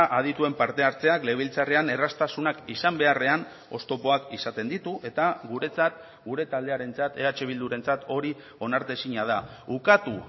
adituen parte hartzeak legebiltzarrean erraztasunak izan beharrean oztopoak izaten ditu eta guretzat gure taldearentzat eh bildurentzat hori onartezina da ukatu